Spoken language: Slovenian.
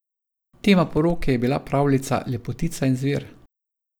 Tema poroke je bila pravljica Lepotica in zver.